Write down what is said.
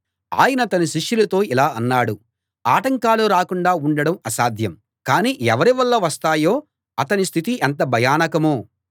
ఆయన తన శిష్యులతో ఇలా అన్నాడు ఆటంకాలు రాకుండా ఉండడం అసాధ్యం కానీ అవి ఎవరి వల్ల వస్తాయో అతని స్థితి ఎంత భయానకమో